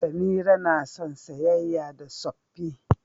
Samira na son saƴaƴa da tsoffi.